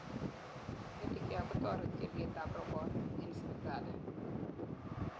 Medicare kotoreti olyet ab rabonik en sipitali